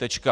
Tečka.